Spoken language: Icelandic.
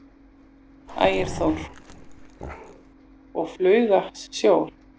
Ægir Þór: Og hauga sjór?